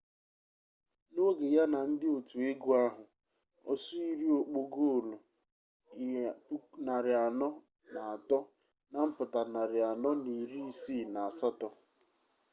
na oge ya na ndi otu egu ahu osuiri okpo goolu 403 na mputa 468